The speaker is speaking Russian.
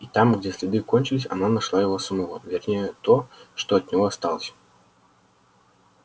и там где следы кончились она нашла его самого вернее то что от него осталось